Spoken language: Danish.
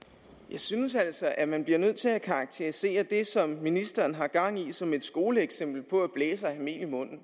synes altså at man bliver nødt til at karakterisere det som ministeren har gang i som et skoleeksempel på at blæse og have mel i munden